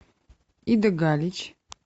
ида галич